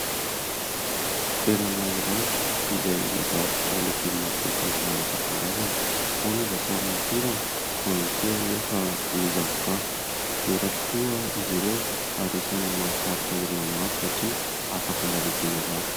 Toerana iray izay mivarotra legioma sy voankazo maro isan-karazany. Ao ny voasarimakirana, ao ihany koa anefa ny zavoka. Mora tokoa izy ireo ary isan'ny mahasarika olona maro satria afaka mbola iadiana varotra.